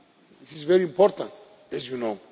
This is very important, as you know.